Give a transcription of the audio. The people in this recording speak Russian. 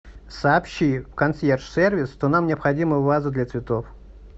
сообщи в консьерж сервис что нам необходима ваза для цветов